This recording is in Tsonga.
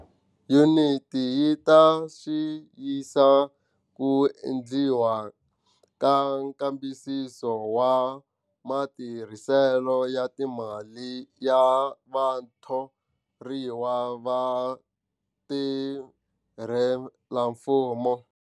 Yuniti yi ta xiyisa ku endliwa ka nkambisiso wa matirhiselo ya timali ya vathoriwa va vatirhelamfumo.